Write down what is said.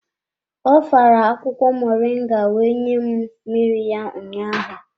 Ọ fara akwukwo moringa wee nye m mmiri ya ụnyaahụ.